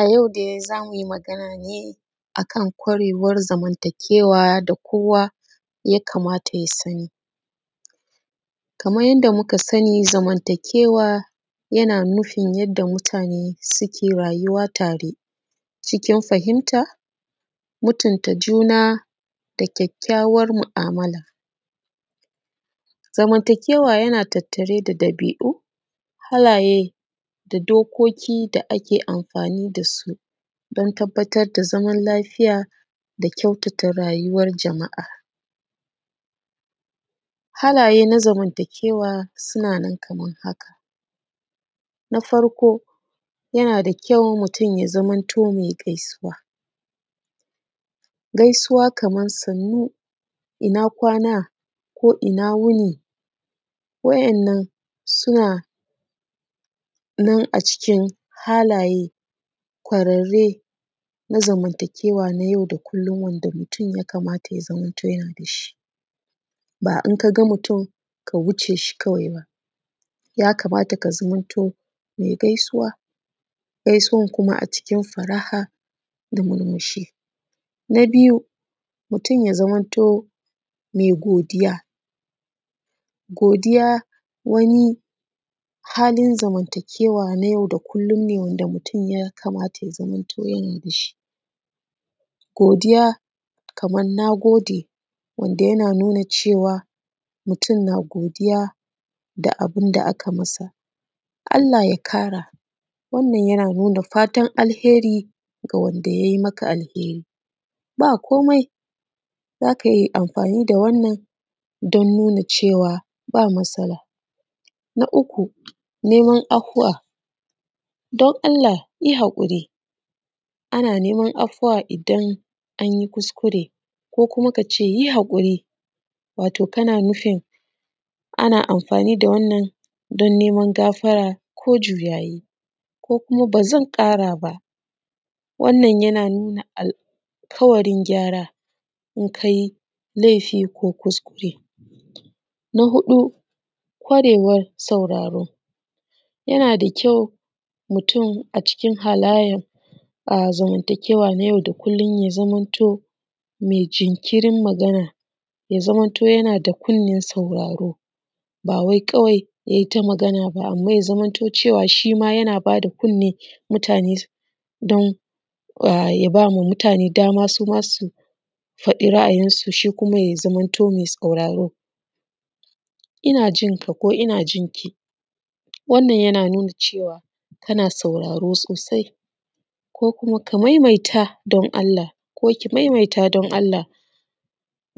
A yau dai za mu yi magana ne a kan ƙwarewan zamantakewa da kowa ya kamata ya sani. Kaman yadda muka sani zamantakewa yana nufin yanda mutane suke rayuwa a tare cikin fahimta, mutunta juna da kyakkyawan mu'amala. Zamantakewa yana tattare da ɗabi'u, halaye, da dokoki da ake amfani da su don tabbatar da zaman lafiya da kyautata rayuwan jama’a. Halaye na zamantakewa suna nan kamar haka. Na farko yana da kyau mutun ya zamanto mai gaisuwa. Gaisuwa kaman sannu, ina kwana, ko ina wuni, wa'innan suna nan a cikin halaye ƙwarerre na zamantakewa na yau da kullun, wanda mutun ya kamata ya zamanto yana da shi. Ba in ka ga mutun ka wuce shi kawai ba, ya kamata ka zamanto mai gaisuwa. Gaisuwan kuma a cikin fara'a da murmushi. Na biyu mutun ya zamanto mai godiya. Godiya wani halin zamantakewa ne na yau da kullun ne wanda mutun ya kamata ya zamanto yana da shi. Godiya kaman na gode, wanda yana nuna cewa godiya da abun da aka masa, Allah ya ƙara wannan ya nuna fatan alhairi ga wanda ya yi maka alhairi. Ba komai, za ka yi amfani da wannan don nuna cewa ba matsala. Na uku neman afuwa. Don Allah yi haƙuri. Ana nima afuwa idan an yi kuskure, ko kuma ka ce yi haƙuri wato kana nufin ana amfani da wannan don neman gafara ko juyayi ko kuma ba zan ƙara ba. Wannan yana nuna alƙawarin gyara in ka yi laifi, ko kuskure. Na huɗu ƙwarewan sauraro. Yana da kyau mutun a cikin halanyan zamantakewa na yau da kullun ya zamanto mai jinkirin magana, ya zamanto yana da kunnan sauraro, ba kawai yayi ta magana ba. Amma ya zamanto shi ma mutane dama suma su faɗa ra'ayin su, shi kuma ya zamanto mai sauraro. Ina jinka ko ina jinki wannan yana nuna cewa kana sauraro sosai ,ko kuma ka maimaita don Allah ki maimaita don Allah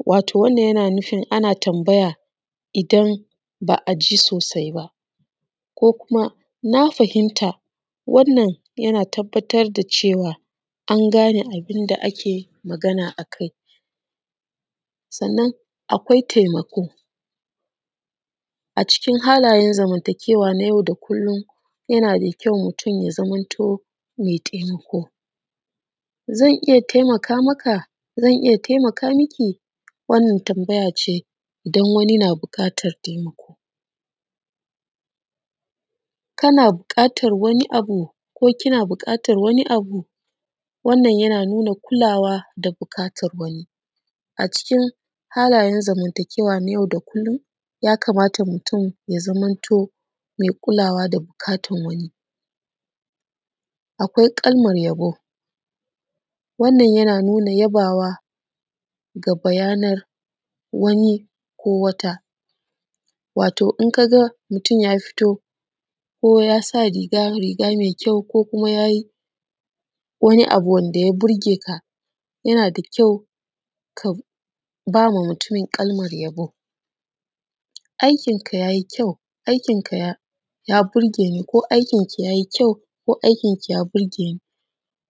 wato wannan yana nufin ana tambaya idan ba a ji sosai ba, ko kuma na fahimta wannan yana tabbatar da cewa an gane abun da ake magana akai. Sannan akwai taimako. A cikin halanyan zamantakewa na yau da kullun yana da kyau mutun ya zamanto mai taimako. Zan iya taimaka maka? Zan iya taimaka maki? Wannan tambaya ce idan wani na buƙatan taimako, kana buƙatan wani abu ko kina buƙatan wani abu wannan yana nuna kulawa da buƙatar wani, a cikin halanyan zamantakewa na yau da kullun. Ya kamata mutun ya zamanto mai kulawa da buƙatan wani. Akwai kalman yabo wannan yana nuna yabawa ga bayanin wani ko wata, wato in ka ga mutun ya fito ko ya sa riga, riga mai kyau ko kuma ya yi wani abu wanda ya burge ka da kyau, ka ba wa mutun kalman yabo. Aikin ka yayi kyau, ya burge ni ko aikin ki yayi kyau ko aikin ki ya burge ni.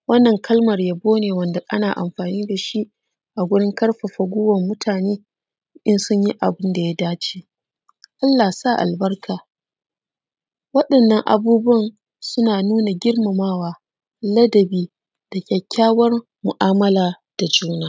Wannan kalman yabo ne wanda ana amfani da shi a gurin ƙarfafa guiwan mutane in sun yi abun da ya da ce. Allah ya sa albarka. Wa'innan abubuwan suna nuna girmamawa, ladabi da kyakawan mu'amala da juna.